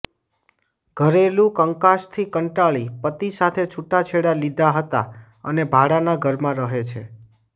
ઘરેલું કંકાશથી કંટાળી પતિ સાથે છુટાછેડા લીધા હતા અને ભાડાના ઘરમાં રહે છે